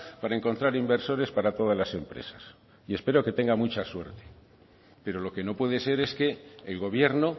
para encontrar inversores para todas las empresas y espero que tenga mucha suerte pero lo que no puede ser es que el gobierno